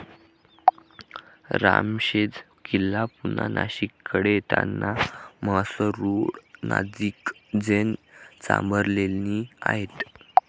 रामशेज किल्ला पुन्हा नाशिककडे येतांना म्हसरूळनजिक जैन चांभारलेणी आहेत.